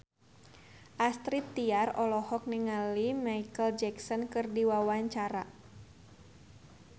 Astrid Tiar olohok ningali Micheal Jackson keur diwawancara